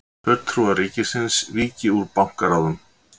Fulltrúar ríkisins víki úr bankaráðum